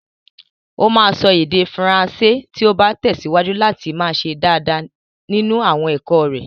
O máa sọ èdè Faransé tí ó bá tẹ̀síwájú láti máa ṣe dáadáa nínú àwọn ẹ̀kọ́ rẹ̀.